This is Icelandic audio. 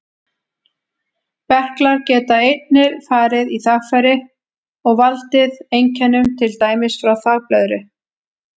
Berklar geta einnig farið í þvagfæri og valdið einkennum, til dæmis frá þvagblöðru.